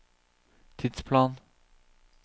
tidsplan